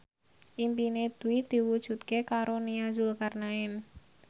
impine Dwi diwujudke karo Nia Zulkarnaen